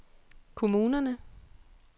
kommunerne